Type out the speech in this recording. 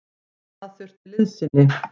Og það þurfti liðsinni.